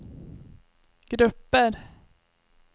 grupper